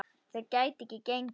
Þetta gæti ekki gengið.